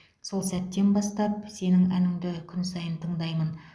сол сәттен бастап сенің әніңді күн сайын тыңдаймын